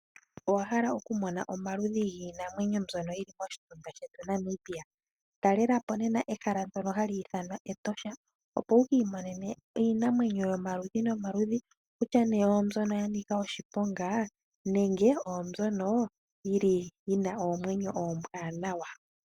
Owa hala okumona omaludhi giinamwenyo mbyono yi li moshitunda shetu Namibia? Talela po nena ehala ndyono hali ithanwa Etosha, opo wu ki imonene iinamwenyo yomaludhi nomaludhi kutya nee oombyono ya nika oshiponga nenge oyo mbyono yi li yi na oomwenyo oombwanawa.